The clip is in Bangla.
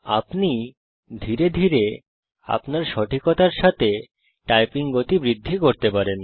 আপনি ধীরে ধীরে আপনার সঠিকতার সাথে টাইপিং গতি বৃদ্ধি করতে পারেন